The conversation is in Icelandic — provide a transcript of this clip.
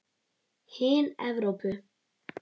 Hin Evrópu